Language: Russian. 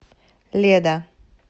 леда